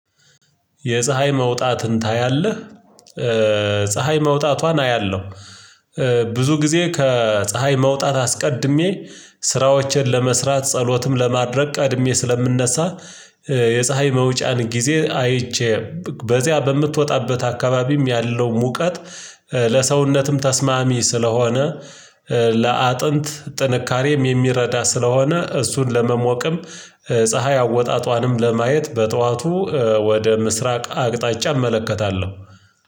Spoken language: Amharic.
የፀሀይ መውጣትን ታያለህ? ፀሀይ መውጣቷን አያለሁ። ብዙ ጊዜ ከፀሀይ መውጣት አስቀድሜ ስራዎቼን ለመስራት ጸሎትም ለማድረግ ቀድሜ ስለምነሳ። የፀሀይ መውጫን ጊዜ አይቼ በዚያ በምትወጣበት አካባቢም ያለው ሙቀት። ለሰውነትም ተስማሚ ስለሆነ ለአጥንት ጥንካሬም የሚረዳ ስለሆነ እሱን ለመሞቅም ፀሀይ አወጣጧንም ለማየት በጠዋቱ ወደ ምስራቅ አቅጣጫ እመለከታለሁ።